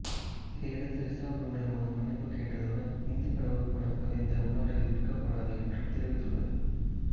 இதையடுத்து Lisa Blue நிறுவனம் மன்னிப்பு கேட்டதுடன் இந்து கடவுள் படம் பதிந்த உள்ளாடைகள் விற்கப்படாது என்றும் தெரிவித்துள்ளது